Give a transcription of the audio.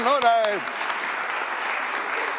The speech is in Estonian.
No näed.